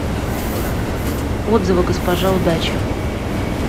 отзывы госпожа удача